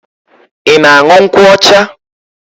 Ị ga-aṅụ nkwụ ọcha?